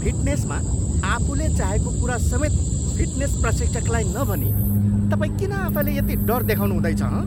फिटनेसमा आफूले चाहेको कुरा समेत फिटनेस प्रशिक्षकलाई नभनी तपाईँ किन आफैलाई यति डर देखाउनुहुँदैछ, हँ?